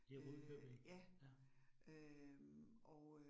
Øh ja. Øh og øh